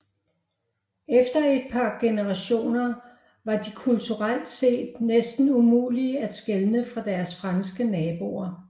Efter et par generationer var de kulturelt set næsten umulige at skelne fra deres franske naboer